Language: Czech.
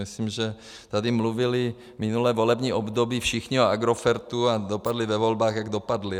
Myslím, že tady mluvili minulé volební období všichni o Agrofertu a dopadli ve volbách, jak dopadli.